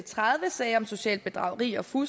fru